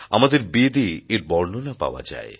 আমাদের বেদ এ এর বর্ণনা পাওয়া যায়